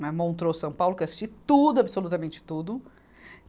Na Montreux São Paulo, que eu assisti tudo, absolutamente tudo.